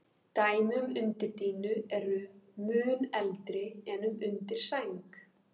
Dæmi um undirdýnu eru mun eldri en um undirsæng.